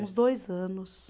Uns dois anos.